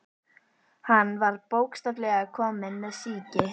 Hann var bókstaflega kominn með sýki.